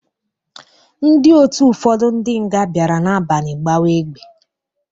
Ndị otu ụfọdụ ndị nga bịara n'abalị gbawa egbe.